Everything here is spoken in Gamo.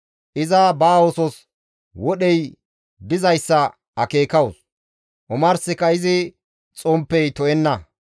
Iza ba oosos wodhey dizayssa akeekawus; omarsika izi xomppey to7enna.